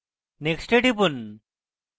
next এ টিপুন